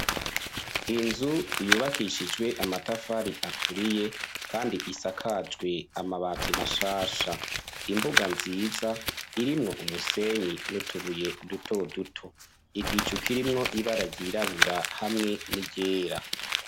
Inzu yubakishijwe amatafari aturiye kandi isakajwe amabati mashasha imbuga nziza irimwo umusenyi nutubuye duto duto, igicu kirimwo ibara ry'irabura hamwe n'iryera.